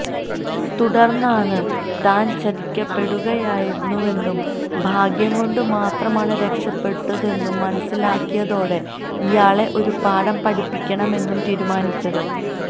തുടർന്നാണ് താൻ ചതിക്കപ്പെടുകയായിരുന്നുവെന്നും ഭാഗ്യം കൊണ്ട് മാത്രമാണ് രക്ഷപ്പെട്ടതെന്നും മനസ്സിലാക്കിയതോടെ ഇയാളെ ഒരു പാഠം പഠിപ്പിക്കമമെന്നും തീരുമാനിച്ചത്